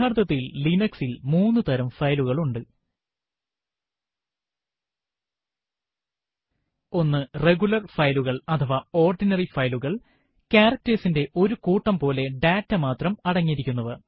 യഥാര്ത്ഥത്തിൽ Linux ൽ മൂന്നു തരം ഫയലുകൾ ഉണ്ട് 1 റെഗുലർ ഫയലുകൾ അഥവാ ഓർഡിനറി ഫയലുകൾ160 characters ന്റെ ഒരു കൂട്ടം പോലെ ഡാറ്റ മാത്രം അടങ്ങിയിരിക്കുന്നവ